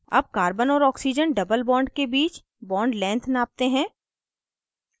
double carbon और oxygen doublebond के बीच bondlength नापते हैं